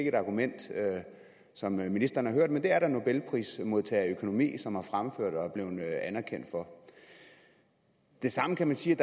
et argument som ministeren har hørt men det er der en nobelprismodtager i økonomi som har fremført og er blevet anerkendt for det samme kan man sige